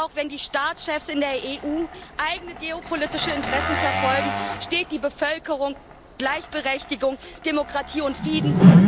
Und auch wenn die Staatschefs in der EU eigene geopolitische Interessen verfolgen, steht die Bevölkerung für Gleichberechtigung, Demokratie und Frieden.